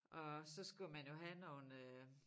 Og så skulle man jo have nogle øh